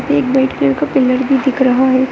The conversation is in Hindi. एक व्हाइट कलर का पिलर भी दिख रहा है।